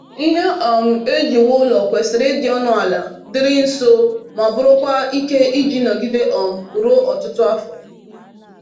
Ihe um eji wuo ụlọ kwesịrị ịdị ọnụ ala, dịịrị nso, ma bụrụkwa ike iji nọgide um ruo ọtụtụ afọ.